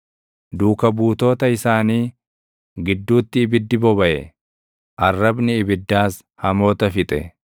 Duuka buutoota isaanii gidduutti ibiddi bobaʼe; arrabni ibiddaas hamoota fixe.